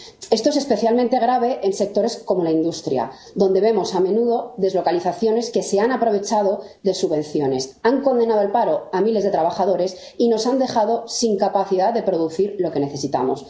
Esto es especialmente grave en sectores como la industria, donde vemos a menudo deslocalizaciones que se han aprovechado de subvenciones, han condenado al paro a miles de trabajadores y nos han dejado sin capacidad de producir lo que necesitamos.